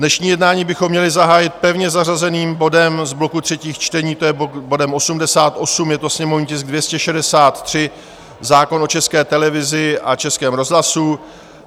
Dnešní jednání bychom měli zahájit pevně zařazeným bodem z bloku třetích čtení, to je bodem 88, je to sněmovní tisk 263, zákon o České televizi a Českém rozhlasu.